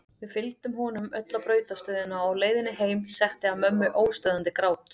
Við fylgdum honum öll á brautarstöðina og á leiðinni heim setti að mömmu óstöðvandi grát.